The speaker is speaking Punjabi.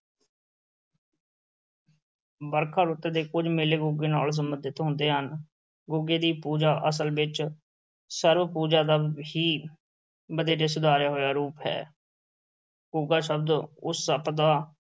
ਵਰਖਾ ਰੁੱਤ ਦੇ ਕੁੱਝ ਮੇਲੇ ਗੁੱਗੇ ਨਾਲ ਸੰਬੰਧਿਤ ਹੁੰਦੇ ਹਨ, ਗੁੱਗੇ ਦੀ ਪੂਜਾ, ਅਸਲ ਵਿੱਚ ਸਰਪ-ਪੂਜਾ ਦਾ ਹੀ ਵਧੇਰੇ ਸੁਧਾਰਿਆ ਹੋਇਆ ਰੂਪ ਹੈ ਗੁੱਗਾ ਸ਼ਬਦ ਉਸ ਸੱਪ ਦਾ